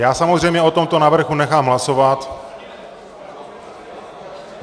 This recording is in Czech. Já samozřejmě o tomto návrhu nechám hlasovat.